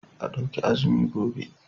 A ɗauki azumi gobe.